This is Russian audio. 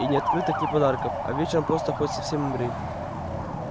и ни открыток ни подарков а вечером просто хоть совсем умри